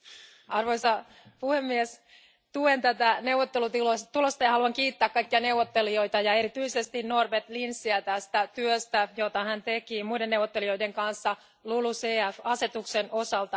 Arvoisa puhemies, tuen tätä neuvottelutulosta ja haluan kiittää kaikkia neuvottelijoita ja erityisesti Norbert Linsiä tästä työstä, jota hän teki muiden neuvottelijoiden kanssa LULUCF asetuksen osalta.